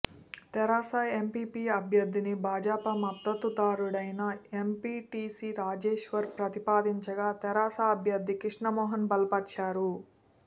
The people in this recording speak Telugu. తెరాస ఎంపీపీ అభ్యర్థిని భాజపా మద్దతుదారుడైన ఎంపీటీసీ రాజేశ్వర్ ప్రతిపాదించగా తెరాస అభ్యర్థి కృష్ణమోహన్ బలపర్చారు